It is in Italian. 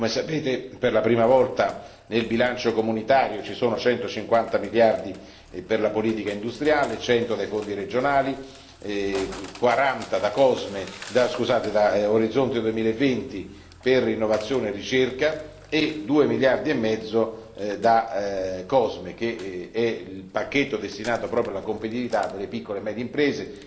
Come sapete, per la prima volta nel bilancio comunitario ci sono 150 miliardi per la politica industriale, 100 dai Fondi regionali, 40 da Orizzonte 2020 per innovazione e ricerca e 2 miliardi e mezzo da COSME, che è il pacchetto destinato proprio alla competitività delle piccole e medie imprese.